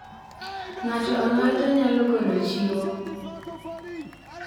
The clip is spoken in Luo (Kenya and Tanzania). Ng'ato ang'ata nyalo golo chiwo.